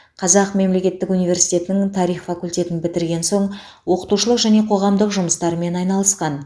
қазақ мемлекеттік университетінің тарих факультетін бітірген соң оқытушылық және қоғамдық жұмыстармен айналысқан